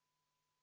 Jaa, tõepoolest!